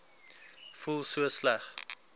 voel so sleg